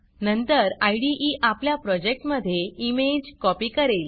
नंतर इदे आपल्या प्रोजेक्टमधे इमेज कॉपी करेल